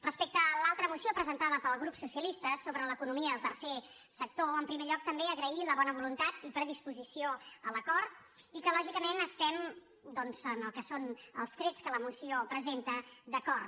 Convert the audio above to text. respecte a l’altra moció presentada pel grup socialista sobre l’economia del tercer sector en primer lloc també agrair la bona voluntat i predisposició a l’acord i que lògicament estem doncs en el que són els trets que la moció presenta d’acord